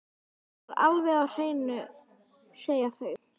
Það er alveg á hreinu, segja þau.